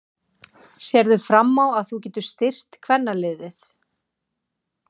Sérðu fram á að þú getir styrkt kvennaliðið?